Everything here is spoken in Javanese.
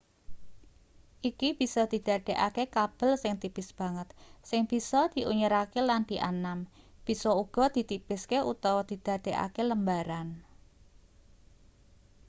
iki bisa didadekake kabel sing tipis banget sing bisa diunyerake lan dianam bisa uga ditipiske utawa didadekake lembaran